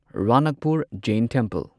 Ranakpur Jain temple